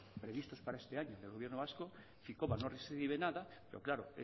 previstos para este año del gobierno vasco ficoba no recibe nada pero claro